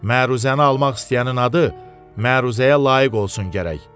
Məruzəni almaq istəyənin adı məruzəyə layiq olsun gərək.